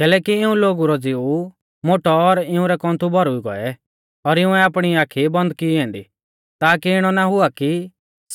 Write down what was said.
कैलैकि इऊं लोगु रौ ज़िऊ मोटौ और इउंरै कौन्थु भौरुई गौऐ और इउंऐ आपणी आखी बन्द की ऐन्दी ताकी इणौ ना हुआ कि